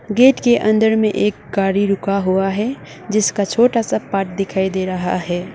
Gate के अंदर में एक गाड़ी रुका हुआ है जिसका छोटा सा पार्ट दिखाई दे रहा है।